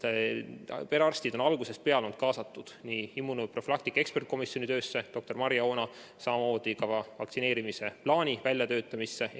Perearstid on algusest peale olnud kaasatud nii immunoprofülaktika eksperdikomisjoni töösse – doktor Marje Oona –, samamoodi vaktsineerimisplaani väljatöötamisse.